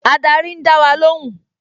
Ádárì ń dá wa lóhùn